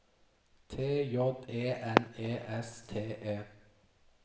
T J E N E S T E